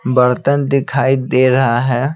बर्तन दिखाई दे रहा है।